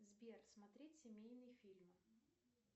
сбер смотреть семейный фильм